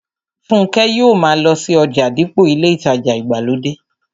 Fúnkẹ́ yóò ma lọ sí ọjà dípò ilé ìtajà ìgbàlódé